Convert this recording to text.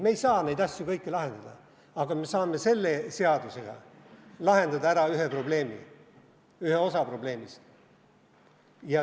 Me ei saa kõiki neid asju lahendada, aga me saame selle seadusega lahendada ära ühe probleemi, ühe osa probleemist.